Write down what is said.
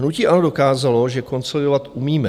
Hnutí ANO dokázalo, že konsolidovat umíme.